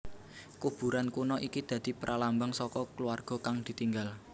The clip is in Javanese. Kuburan kuno iki dadi pralambang saka kulawarga kang ditinggal